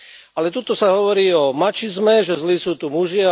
Ale tuto sa hovorí o mačizme, že zlí sú tu muži.